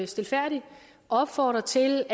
stilfærdigt opfordre til